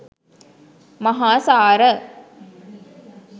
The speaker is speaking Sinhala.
මහාසාර,